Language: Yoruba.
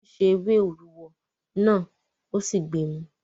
wọ́n se “ewé òrúwọ" náà ó sì gbemu.